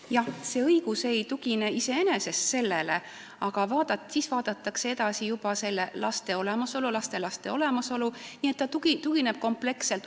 Jah, see õigus ei tugine iseenesest sellele, aga siis vaadatakse laste ja lastelaste olemasolu, nii et see tuginemine on kompleksne.